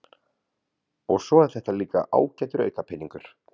og svo er þetta líka ágætur aukapeningur.